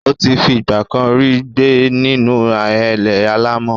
Ó ti fi ìgbà kan rí gbé nínú ahéré alàmọ̀.